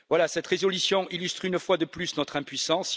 Cette résolution illustre, une fois de plus, notre impuissance.